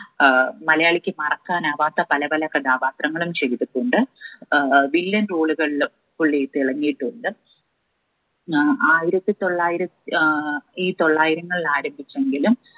ഏർ മലയാളിക്ക് മറക്കാൻ ആവാത്ത പല പല കഥാപാത്രങ്ങളും ചെയ്തിട്ടുണ്ട് ഏർ വില്ലൻ role കള്ള് പുള്ളി തിളങ്ങിയിട്ടുണ്ട് ഏർ ആയിരത്തി തൊള്ളായിര ഏർ ഈ തൊള്ളായിരങ്ങളിൽ ആരംഭിച്ചെങ്കിലും